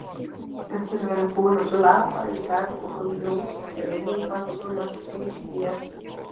Eftir að vera búinn að blaða í dagbókum Jóns Reginbaldssonar finnst mér